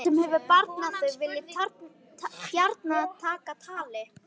Danann sem hefur barnað þig vil ég gjarna taka tali.